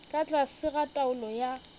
ka tlase ga taolo ya